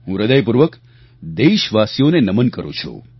હું હ્રદયપૂર્વક દેશવાસીઓને નમન કરું છું